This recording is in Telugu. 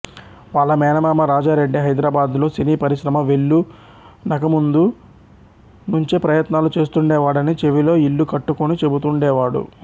వాళ్ళ మేనమామ రాజారెడ్డి హెదరాబాద్ లో సినీపరిశ్రమ వేళ్ళూనకముందునుంచే ప్రయత్నాలు చేస్తుండేవాడని చెవిలో ఇల్లు కట్టుకొని చెబుతుండేవాడు